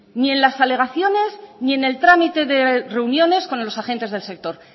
ni en las alegaciones ni en el trámite de reuniones con los agentes del sector